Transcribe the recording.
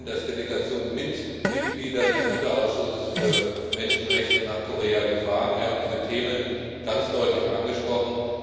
Wir sind als Delegation mit Mitgliedern des Unterausschusses für Menschenrechte nach Korea gefahren, wir haben diese Themen ganz deutlich angesprochen.